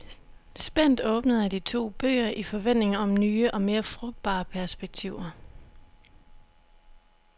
Spændt åbnede jeg de to bøger i forventning om nye og mere frugtbare perspektiver.